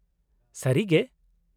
ᱥᱟᱹᱨᱤᱜᱮ !?